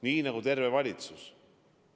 Nii nagu terve valitsus.